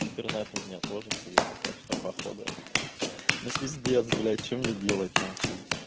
интернет у меня тоже хуевый так что походу ну пиздец блять что мне делать нахуй